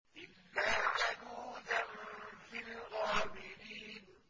إِلَّا عَجُوزًا فِي الْغَابِرِينَ